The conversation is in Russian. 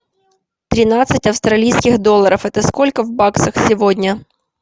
тринадцать австралийских долларов это сколько в баксах сегодня